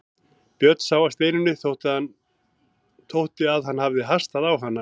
Björn sá að Steinunni þótti að hann hafði hastað á hana.